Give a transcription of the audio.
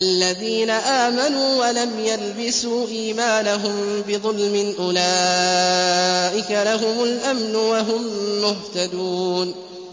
الَّذِينَ آمَنُوا وَلَمْ يَلْبِسُوا إِيمَانَهُم بِظُلْمٍ أُولَٰئِكَ لَهُمُ الْأَمْنُ وَهُم مُّهْتَدُونَ